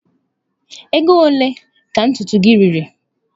Ego ole ka ntutu gị riri?